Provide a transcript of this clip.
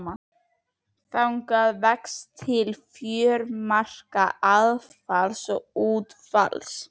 Þang vex milli fjörumarka aðfalls og útfalls.